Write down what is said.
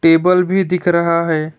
Table भी दिख रहा है।